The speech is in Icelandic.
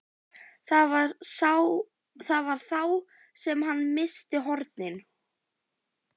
Það var þá sem hann missti hornin.